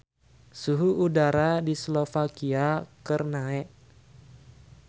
Suhu udara di Slovakia keur naek